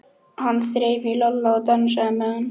Hann þreif í Lalla og dansaði með hann.